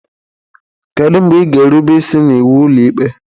Kedu mgbe ị ga-erube isi n'iwu Ụlọikpe?